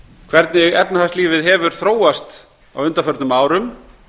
hvernig efnahagslífið hefur þróast á undanförnum árum